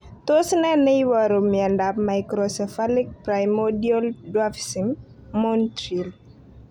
Tos nee neiparu miondop Microcephalic primordial dwarfism, Montreal